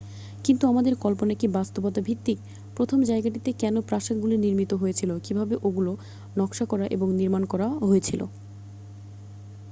কিন্তু আমাদের কল্পনা কী বাস্তবতা ভিত্তিক প্রথম জায়গাটিতে কেন প্রাসাদগুলি নির্মিত হয়েছিল কীভাবে ওগুলো নকশা করা এবং নির্মাণ করা হয়েছিল